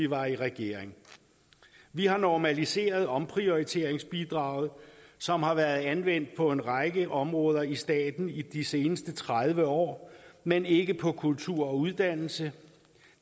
var i regering vi har normaliseret omprioriteringsbidraget som har været anvendt på en række områder i staten i de seneste tredive år men ikke på kultur og uddannelse